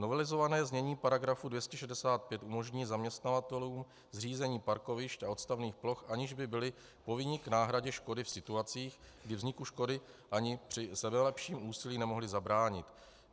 Novelizované znění paragrafu 265 umožní zaměstnavatelům zřízení parkovišť a odstavných ploch, aniž by byli povinni k náhradě škody v situacích, kdy vzniku škody ani při sebelepším úsilí nemohli zabránit.